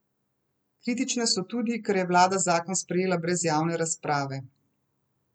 Kritične so tudi, ker je vlada zakon sprejela brez javne razprave.